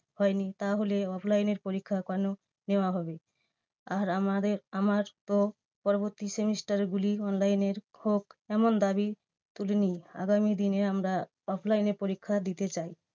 হয়নি তাহলে offline এর পরীক্ষা কেন নেওয়া হবে? আর আমাদের আমার তো পরবর্তী semester গুলি online হোক এমন দাবী তুলিনি। আগামী দিনে আমরা offline এ পরীক্ষা দিতে চাই।